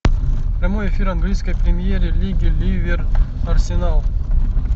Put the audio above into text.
прямой эфир английской премьер лиги ливер арсенал